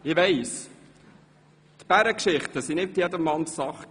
Ich weiss, die Bärengeschichten waren nicht jedermanns Sache.